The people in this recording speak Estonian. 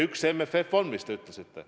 Üks mure MFF, nagu te ütlesite.